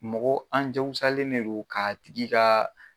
Mɔgɔ an diyagosalen don ka tigi ka